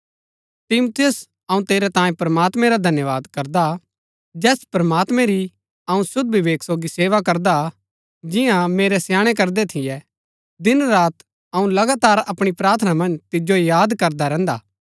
तिमुथियुस अऊँ तेरै तांये प्रमात्मैं रा धन्यवाद करदा हा जैस प्रमात्मैं री अऊँ शुद्ध विवेक सोगी सेवा करदा हा जिन्या मेरै स्याणै करदै थियै दिन रात अऊँ लगातार अपणी प्रार्थना मन्ज तिजो याद करदा रैहन्दा हा